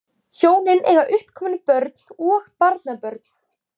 Hjónin eiga uppkomin börn og barnabörn